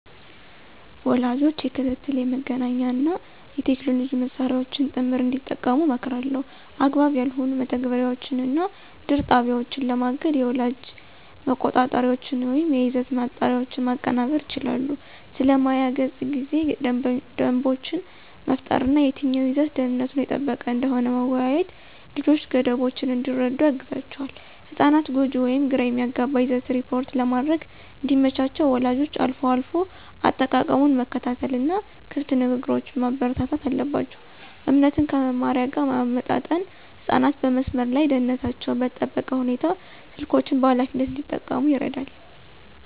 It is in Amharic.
ወላጆች የክትትል፣ የመገናኛ እና የቴክኖሎጂ መሳሪያዎችን ጥምር እንዲጠቀሙ እመክራለሁ። አግባብ ያልሆኑ መተግበሪያዎችን እና ድር ጣቢያዎችን ለማገድ የወላጅ መቆጣጠሪያዎችን ወይም የይዘት ማጣሪያዎችን ማቀናበር ይችላሉ። ስለ ማያ ገጽ ጊዜ ደንቦችን መፍጠር እና የትኛው ይዘት ደህንነቱ የተጠበቀ እንደሆነ መወያየት ልጆች ገደቦችን እንዲረዱ ያግዛቸዋል። ህጻናት ጎጂ ወይም ግራ የሚያጋባ ይዘትን ሪፖርት ለማድረግ እንዲመቻቸው ወላጆች አልፎ አልፎ አጠቃቀሙን መከታተል እና ክፍት ንግግሮችን ማበረታታት አለባቸው። እምነትን ከመመሪያ ጋር ማመጣጠን ህጻናት በመስመር ላይ ደህንነታቸው በተጠበቀ ሁኔታ ስልኮችን በኃላፊነት እንዲጠቀሙ ይረዳል።